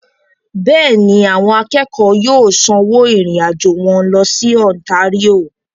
Bẹ́ẹ̀ni, àwọn akẹ́kọ̀ọ́ yóò sanwó ìrìn-àjò wọn lọ sí Ontario.